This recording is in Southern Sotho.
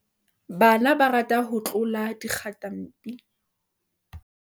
bana ba rata ho tlola dikgatampi